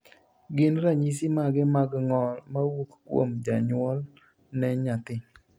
gin ranyisi mage mag ng'ol mawuok kuom janyuol ne nyathi